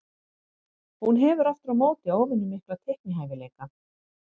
Hún hefur aftur á móti óvenju mikla teiknihæfileika.